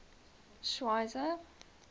schweizer